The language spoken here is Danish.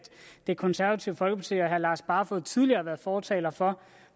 det konservative folkeparti og herre lars barfoed tidligere har været fortalere for